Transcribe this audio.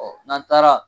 n'an taara